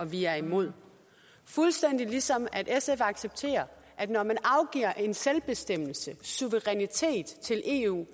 vi er imod fuldstændig ligesom sf accepterer at når man afgiver selvbestemmelse suverænitet til eu